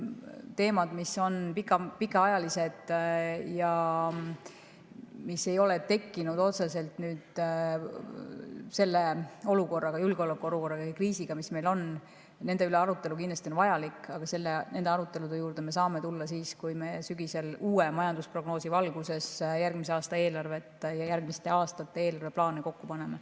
Teemade üle, mis on pikaajalised ja mis ei ole tekkinud otseselt nüüd, selle julgeolekuolukorra ja kriisi tõttu, on arutelu kindlasti vajalik, aga nende arutelude juurde me saame tulla siis, kui me sügisel uue majandusprognoosi valguses järgmise aasta eelarvet ja järgmiste aastate eelarveplaane kokku paneme.